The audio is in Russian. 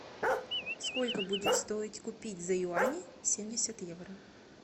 сколько будет стоить купить за юани семьдесят евро